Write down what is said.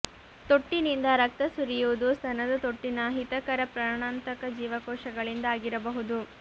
ತೊಟ್ಟಿನಿಂದ ರಕ್ತ ಸುರಿಯುವುದು ಸ್ತನದ ತೊಟ್ಟಿನ ಅಹಿತಕರ ಪ್ರಾಣಾಂತಕ ಜೀವಕೋಶಗಳಿಂದ ಆಗಿರಬಹುದು